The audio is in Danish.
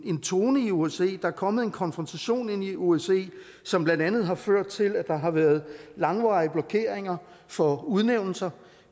en tone i osce er kommet en konfrontation ind i osce som blandt andet har ført til at der har været langvarige blokeringer for udnævnelser